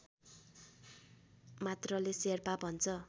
मात्रले शेर्पा भन्छ